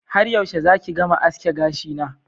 Har yaushe zaki gama aske gashina